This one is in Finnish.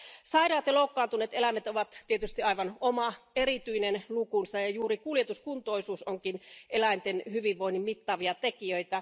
Sairaat ja loukkaantuneet eläimet ovat tietysti aivan oma erityinen lukunsa, ja juuri kuljetuskuntoisuus kuuluukin eläinten hyvinvointia mittaaviin tekijöihin.